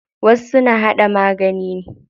Wasu na haɗa magani ne.